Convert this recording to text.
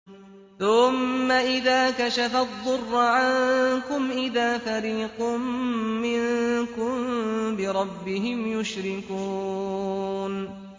ثُمَّ إِذَا كَشَفَ الضُّرَّ عَنكُمْ إِذَا فَرِيقٌ مِّنكُم بِرَبِّهِمْ يُشْرِكُونَ